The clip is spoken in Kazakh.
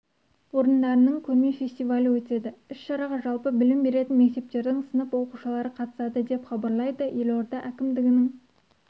орындарының көрме-фестивалі өтеді іс-шараға жалпы білім беретін мектептердің сынып оқушылары қатысады деп хабарлайды елорда әкімдігінің